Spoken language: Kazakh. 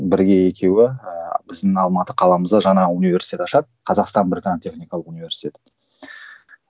бірге екеуі ііі біздің алматы қаламызда жаңа университет ашады қазақстан британ техникалық университеті